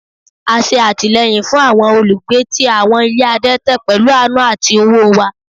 A ṣe atilẹyin fun awọn olugbe ti awọn ile adẹtẹ pẹlu aanu ati owo wa